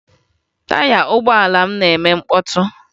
Taya ụgbọala m na-eme mkpọtụ